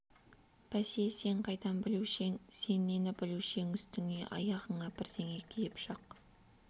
бәсе сен қайдан білуші ең сен нені білуші ең үстіңе аяғыңа бірдеңе киіп шық